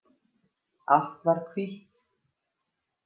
Allt var hvítt.